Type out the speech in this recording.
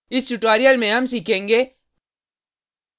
इस tutorial में हम सीखेंगे